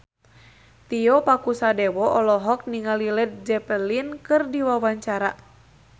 Tio Pakusadewo olohok ningali Led Zeppelin keur diwawancara